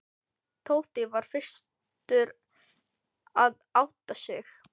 Tóti var fyrstur að átta sig.